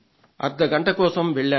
అర్థ గంట కోసం వెళ్లాను